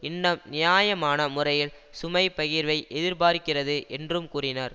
இன்னும் நியாயமான முறையில் சுமைப் பகிர்வை எதிர்பார்க்கிறது என்றும் கூறினர்